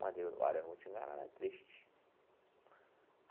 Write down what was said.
Olha, eu não vou te enganar não, é triste.